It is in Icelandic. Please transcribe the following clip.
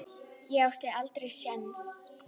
Ég átti aldrei séns.